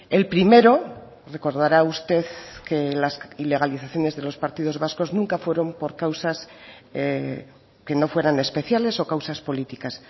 el primero recordará usted que las ilegalizaciones de los partidos vascos nunca fueron por causas que no fueran especiales o causas políticas